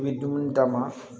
I bɛ dumuni d'a ma